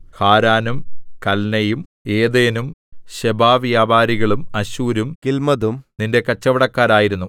ഹാരാനും കല്നെയും ഏദേനും ശെബാവ്യാപാരികളും അശ്ശൂരും കില്മദും നിന്റെ കച്ചവടക്കാരായിരുന്നു